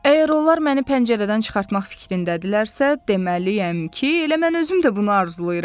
Əgər onlar məni pəncərədən çıxartmaq fikrindədirlərsə, deməli yəni ki, elə mən özüm də bunu arzulayıram.